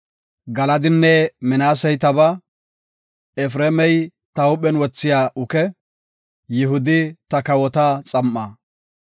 Galadinne Minaasey tabaa; Efreemi ta huuphen wothiya uke; Yihudi ta kawota xam7aa.